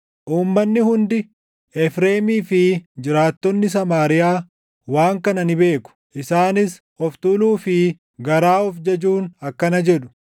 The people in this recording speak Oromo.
Uummanni hundi, Efreemii fi jiraattonni Samaariyaa waan kana ni beeku; isaanis of tuuluu fi garaa of jajuun akkana jedhu;